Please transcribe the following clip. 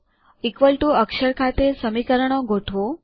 equal to અક્ષર ખાતે સમીકરણો ગોઠવો